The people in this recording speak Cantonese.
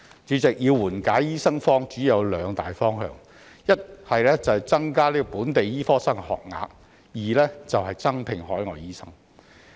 主席，要緩解醫生荒主要有兩大方向：一是增加本地醫科生學額；二是增聘海外醫生。